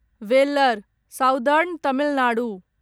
valour southern Tamil Nadu